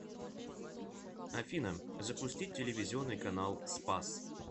афина запустить телевизионный канал спас